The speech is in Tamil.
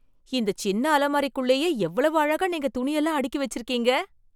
இந்த சின்ன அலமாரிக்குள்ளயே எவ்வளவு அழகா நீங்க துணி எல்லாம் அடுக்கி வச்சிருக்கீங்க!